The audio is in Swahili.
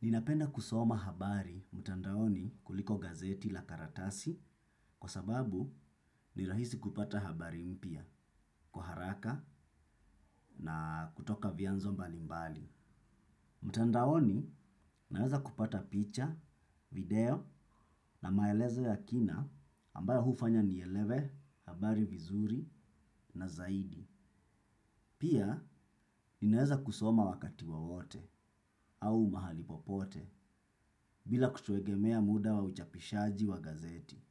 Ninapenda kusoma habari mtandaoni kuliko gazeti la karatasi kwa sababu ni rahisi kupata habari mpya kwa haraka na kutoka vyanzo mbalimbali. Mtandaoni naweza kupata picha, video na maelezo ya kina ambayo hufanya nielewe habari vizuri na zaidi. Pia ninaweza kusoma wakati wowote au mahali popote bila kutegemea muda wa uchapishaji wa gazeti.